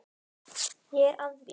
Ég er að því.